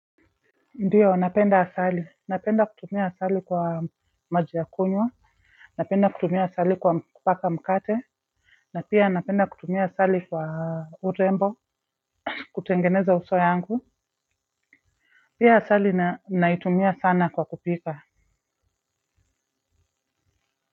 Ndio napenda asali napenda kutumia asali kwa maji ya kunywa napenda kutumia asali kwa kupaka mkate na pia napenda kutumia asali kwa urembo kutengeneza uso yangu pia asali naitumia sana kwa kupika.